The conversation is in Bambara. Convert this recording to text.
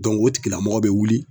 o tigilamɔgɔ bɛ wuli.